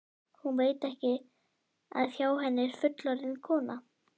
Hún veit ekki að hjá henni er fullorðin kona.